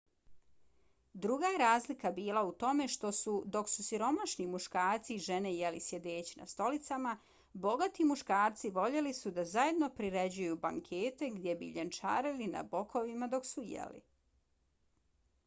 druga je razlika bila u tome što su dok su siromašni muškarci i žene jeli sjedeći na stolicama bogati muškarci voljeli su da zajedno priređuju bankete gdje bi ljenčarili na bokovima dok su jeli